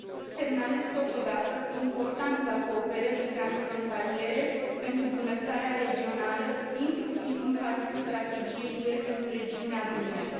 Semnalez totodată importanța cooperării transfrontaliere pentru bunăstarea regională, inclusiv în cadrul Strategiei UE pentru regiunea Dunării.